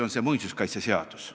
Pean silmas muinsuskaitseseadust.